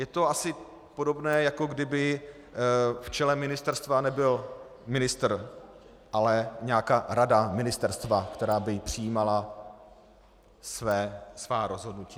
Je to asi podobné, jako kdyby v čele ministerstva nebyl ministr, ale nějaká rada ministerstva, která by přijímala svá rozhodnutí.